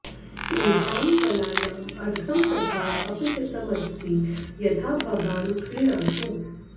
एषां फलानाम् अर्घम् तथा अपचितम् अस्ति यथा भवान् क्रीणातु